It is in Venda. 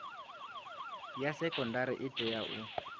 ya sekondari i tea u